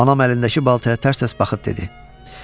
Anam əlindəki baltaya tərs-tərs baxıb dedi: